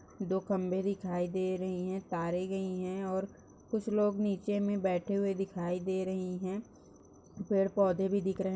दो खंभे दिखाई दे रहे हैं तारे गई हैं और कुछ लोग नीचे मे बैठे हुए दिखाई दे रहे हैं पेड़ पौधे भी दिख रहे हैं।